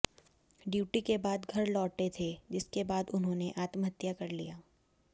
duty के बाद घर लौटे थे जिसके बाद उन्होंने आत्महत्या कर लिया